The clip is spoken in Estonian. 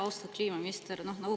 Austatud kliimaminister!